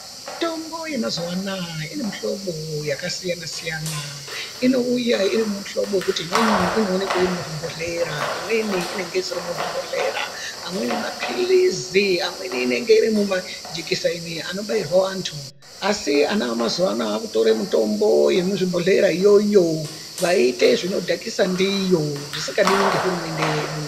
Mitombo yemazuwa anaa ine mihlobo yakasiyana siyana, inouya iri muhlobo wekuti umweni inoonekwa iri muzvibhedhlera, imweni isiri muzvibhedhlera, amweni mapirizi, amweni majikiseni anobairwa andu asi ana emazuwa anaya akutora mitombo yemuzvibhodhlera iyoyo odhakisa ndiyo zvisingadiwi ngehurumende yedu.